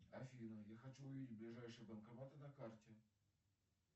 афина я хочу увидеть ближайшие банкоматы на карте